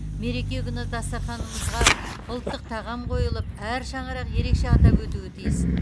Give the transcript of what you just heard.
мереке күні дастарханымызға ұлттық тағам қойылып әр шаңырақ ерекше атап өтуі тиіс